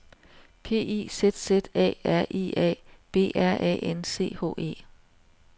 P I Z Z A R I A B R A N C H E